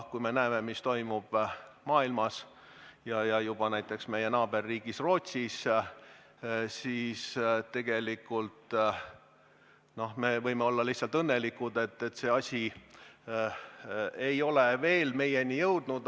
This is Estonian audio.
Kui me näeme, mis toimub mujal maailmas, ka näiteks meie naaberriigis Rootsis, siis võime olla õnnelikud, et see asi ei ole veel meieni jõudnud.